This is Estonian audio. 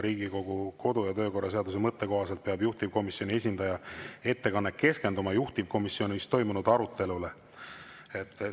Riigikogu kodu‑ ja töökorra seaduse mõtte kohaselt peab juhtivkomisjoni esindaja ettekanne keskenduma juhtivkomisjonis toimunud arutelule.